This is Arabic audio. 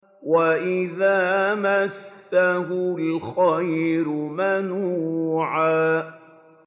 وَإِذَا مَسَّهُ الْخَيْرُ مَنُوعًا